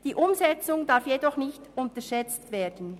Die Umsetzung darf jedoch nicht unterschätzt werden.